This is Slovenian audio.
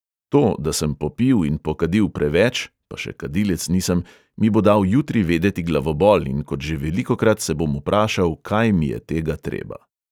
To, da sem popil in pokadil preveč (pa še kadilec nisem), mi bo dal jutri vedeti glavobol in kot že velikokrat se bom vprašal, kaj mi je tega treba.